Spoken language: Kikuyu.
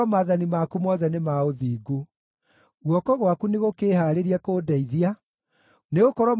Guoko gwaku nĩgũkĩĩhaarĩrie kũndeithia, nĩgũkorwo mawatho maku nĩmo niĩ ndĩthuurĩire.